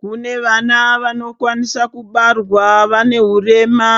Kune vana vano kwanisa kubarwa vane hurema